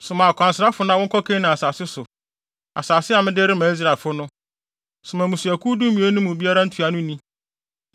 “Soma akwansrafo na wɔnkɔ Kanaan asase so; asase a mede rema Israelfo no. Soma mmusuakuw dumien no mu biara ntuanoni.”